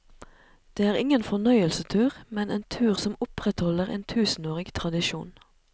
Det er ingen fornøyelsestur, men en tur som opprettholder en tusenårig tradisjon.